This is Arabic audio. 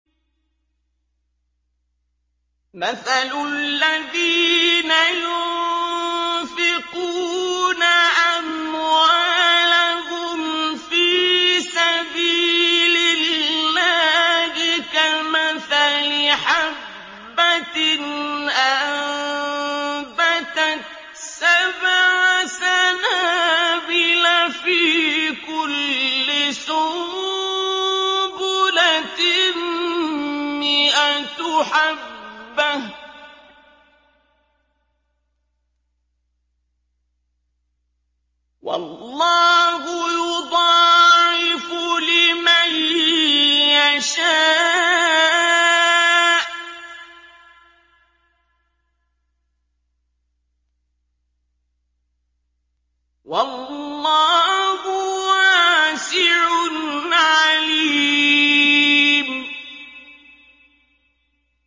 مَّثَلُ الَّذِينَ يُنفِقُونَ أَمْوَالَهُمْ فِي سَبِيلِ اللَّهِ كَمَثَلِ حَبَّةٍ أَنبَتَتْ سَبْعَ سَنَابِلَ فِي كُلِّ سُنبُلَةٍ مِّائَةُ حَبَّةٍ ۗ وَاللَّهُ يُضَاعِفُ لِمَن يَشَاءُ ۗ وَاللَّهُ وَاسِعٌ عَلِيمٌ